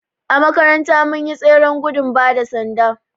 A makaranta mun yi tseren gudun bada sanda